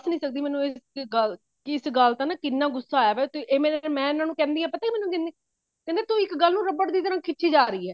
ਸਕਦੀ ਮੈਨੂੰ ਇਹ ਗੱਲ ਇਸ ਗੱਲ ਦਾ ਇੰਨਾ ਗੁੱਸਾ ਆਇਆ ਪਿਆ ਤੇ ਇਹ ਮੇਰੇ ਮੈਂ ਇਹਨਾ ਨੂੰ ਕਹਿੰਦੀ ਹਾਂ ਪਤਾ ਇਹ ਮੈਨੂੰ ਕੀ ਕਹਿੰਦੇ ਤੂੰ ਇੱਕ ਗੱਲ ਨੂੰ ਰਬੜ ਵਾਂਗੂ ਖਿੱਚੀ ਜਾਂਦੀ ਹੈ